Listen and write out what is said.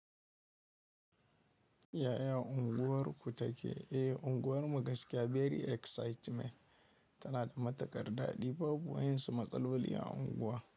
Yaya unguwar ku take? Eh, unguwar mu gaskiya very excitement. Tana da matukar daɗi babu wayensu matsaloli a unguwa.